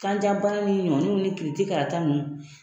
Kan ja bana ni ɲɔniw ni kiriti karata ninnu